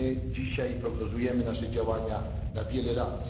Dzisiaj prognozujemy nasze działania na wiele lat.